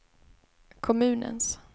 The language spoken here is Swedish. kommunens